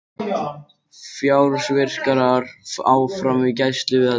Fjársvikarar áfram í gæsluvarðhaldi